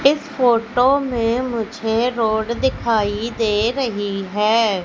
इस फोटो में मुझे रोड दिखाई दे रहे हैं।